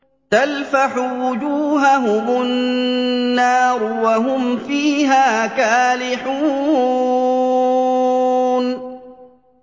تَلْفَحُ وُجُوهَهُمُ النَّارُ وَهُمْ فِيهَا كَالِحُونَ